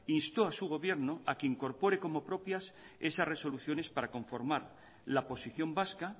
instó a su gobierno a que incorpore como propias esas resoluciones para conformar la posición vasca